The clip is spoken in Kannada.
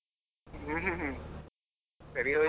ಹ್ಮ್ ಹ್ಮ್ ಹ್ಮ್ ಸರಿ ಹೋಯ್ತು.